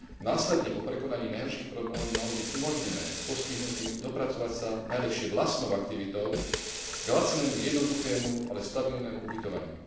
Následne po prekonaní najhorších problémov by malo byť umožnené postihnutým dopracovať sa najlepšie vlastnou aktivitou k lacnému, jednoduchému, ale stabilnému ubytovaniu.